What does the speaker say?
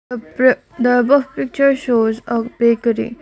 up raa the above picture shows of bakery.